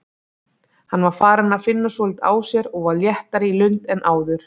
Hann var farinn að finna svolítið á sér og var léttari í lund en áður.